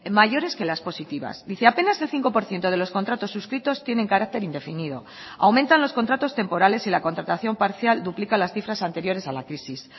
mayores que las positivas dice apenas el cinco por ciento de los contratos suscritos tienen carácter indefinido aumentan los contratos temporales y la contratación parcial duplica las cifras anteriores a la crisis